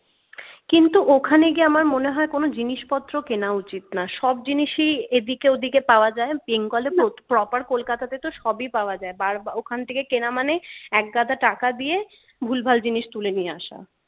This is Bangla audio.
কিন্তু ওখানে গিয়ে আমার মনে হয় কোন জিনিসপত্র কেনা উচিত না সব জিনিসই এদিকে ওদিকে পাওয়া যায় bengal এ proper kolkata তে সবই পাওয়া যায় বার ওখানে কেনা মানে একগাদা টাকা দিয়ে ভুলভাল জিনিস তুলে নিয়ে আসা